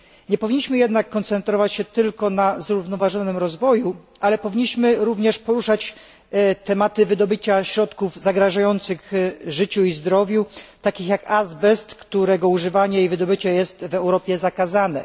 Nie powinniśmy jednak koncentrować się tylko na zrównoważonym rozwoju, powinniśmy również poruszać tematy wydobycia środków zagrażających życiu i zdrowiu, takich jak azbest, którego używanie i wydobycie jest w Europie zakazane.